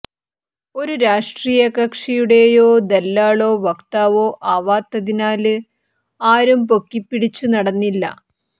ഒരു രാഷ്ട്രീയ കക്ഷിയുടെയും ദല്ലാളോ വക്താവോ ആവാത്തതിനാല് ആരും പൊക്കിപ്പിടിച്ചു നടന്നില്ല